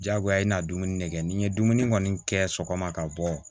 Diyagoya i bɛna dumuni de kɛ ni n ye dumuni kɔni kɛ sɔgɔma ka bɔ